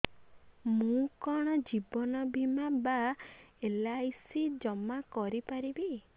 ମୁ କଣ ଜୀବନ ବୀମା ବା ଏଲ୍.ଆଇ.ସି ଜମା କରି ପାରିବି